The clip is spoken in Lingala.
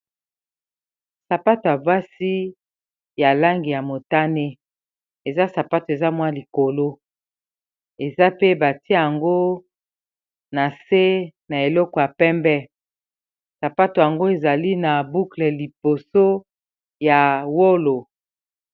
Sapato ya basi ya langi ya motane eza sapato eza mwa likolo eza pe batia yango na se na eleko ya pembe sapato yango ezali na bukle liboso ya wolo.